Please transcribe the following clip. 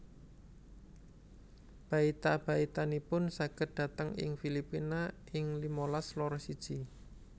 Baita baitanipun saged dhateng ing Filipina ing limalas loro siji